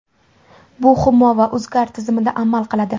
Bu Humo va UzCard tizimida amal qiladi.